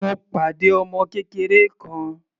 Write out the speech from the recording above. Mo pàdé ọmọ kékeré kan.